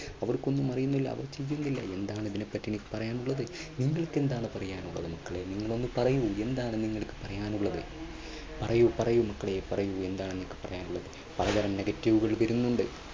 അവർക്കൊന്നും അറിയില്ലല്ലോ അവർക്കിതില്ലല്ലോ എന്താണ് ഇതിനെപ്പറ്റി പറയാനുള്ളത്. നിങ്ങൾക്ക് എന്താണ് പറയാനുള്ളത് മക്കളെ നിങ്ങൾ പറയൂ എന്താണ് നിങ്ങൾക്ക് പറയാനുള്ളത് പറയൂ, പറയൂ മക്കളെ പറയൂ എന്താണ് നിങ്ങൾക്ക് പറയാനുള്ളത് പലതരം negative കൾ വരുന്നുണ്ട്.